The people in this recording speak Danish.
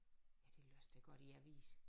Ja det læste jeg godt i avisen